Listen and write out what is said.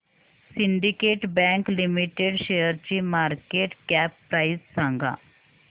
Syndicate Bank Limited शेअरची market cap price सांगा